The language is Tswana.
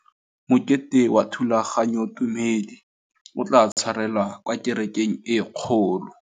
Mokete wa thulaganyôtumêdi o tla tshwarelwa kwa kerekeng e kgolo.